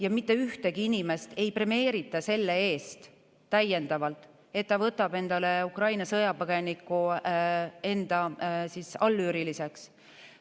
Ja mitte ühtegi inimest ei premeerita selle eest täiendavalt, et ta võtab Ukraina sõjapõgeniku enda allüüriliseks.